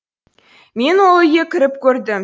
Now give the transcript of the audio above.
мен ол үйге кіріп көрдім